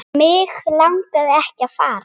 Mig langaði ekki að fara.